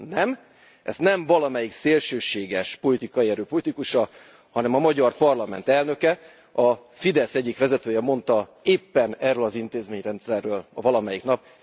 Nem, ezt nem valamelyik szélsőséges politikai erő politikusa, hanem a magyar parlament elnöke, a Fidesz egyik vezetője mondta éppen erről az intézményrendszerről valamelyik nap.